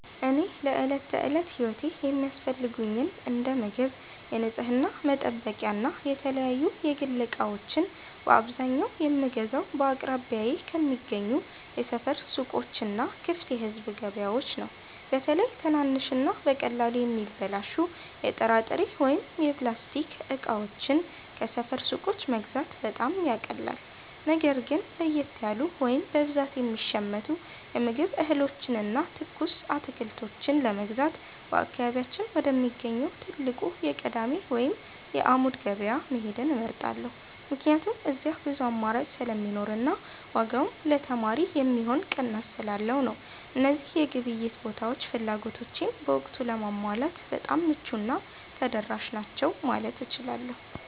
እኔ ለዕለት ተዕለት ሕይወቴ የሚያስፈልጉኝን እንደ ምግብ፣ የንጽሕና መጠበቂያና የተለያዩ የግል ዕቃዎችን በአብዛኛው የምገዛው በአቅራቢያዬ ከሚገኙ የሰፈር ሱቆችና ክፍት የሕዝብ ገበያዎች ነው። በተለይ ትናንሽና በቀላሉ የሚበላሹ የጥራጥሬ ወይም የላስቲክ ዕቃዎችን ከሰፈር ሱቆች መግዛት በጣም ያቃልላል። ነገር ግን ለየት ያሉ ወይም በብዛት የሚሸመቱ የምግብ እህሎችንና ትኩስ አትክልቶችን ለመግዛት በአካባቢያችን ወደሚገኘው ትልቁ የቅዳሜ ወይም የዓሙድ ገበያ መሄድን እመርጣለሁ፤ ምክንያቱም እዚያ ብዙ አማራጭ ስለሚኖርና ዋጋውም ለተማሪ የሚሆን ቅናሽ ስላለው ነው። እነዚህ የግብይት ቦታዎች ፍላጎቶቼን በወቅቱ ለማሟላት በጣም ምቹና ተደራሽ ናቸው ማለት እችላለሁ።